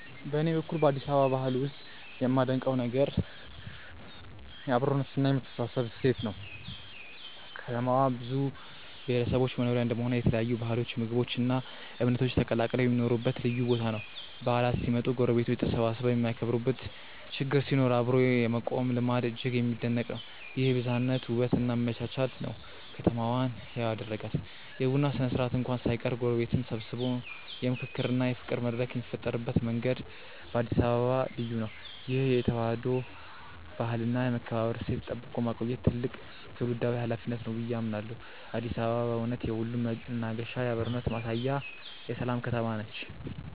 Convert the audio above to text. በኔ በኩል በአዲስ አበባ ባህል ውስጥ የማደንቀው ዋና ነገር የአብሮነትና የመተሳሰብ እሴት ነው። ከተማዋ የብዙ ብሔረሰቦች መኖሪያ እንደመሆኗ የተለያዩ ባህሎች ምግቦች እና እምነቶች ተቀላቅለው የሚኖሩበት ልዩ ቦታ ነው። በዓላት ሲመጡ ጎረቤቶች ተሰባስበው የሚያከብሩበት ችግር ሲኖር አብሮ የመቆም ልማድ እጅግ የሚደነቅ ነው። ይህ የብዝሃነት ውበት እና መቻቻል ነው ከተማዋን ህያው የሚያደርጋት። የቡና ስነ-ስርዓት እንኳን ሳይቀር ጎረቤትን ሰብስቦ የምክክርና የፍቅር መድረክ የሚፈጥርበት መንገድ በአዲስ አበባ ልዩ ነው። ይህን የተዋህዶ ባህልና የመከባበር እሴት ጠብቆ ማቆየት ትልቅ ትውልዳዊ ኃላፊነት ነው ብዬ አምናለሁ። አዲስ አበባ በእውነት የሁሉም መናገሻ፣ የአብሮነት ማሳያና የሰላም ከተማ ነች።